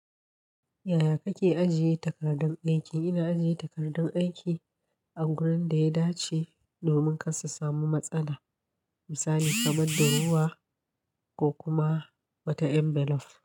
Yaya kake ajiye takardun aiki? Ina ajiye takardun aiki a gurin da ya dace domin kar su samu matsala, misali kamar durowa ko kuma wata envelop.